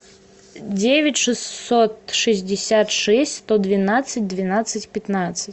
девять шестьсот шестьдесят шесть сто двенадцать двенадцать пятнадцать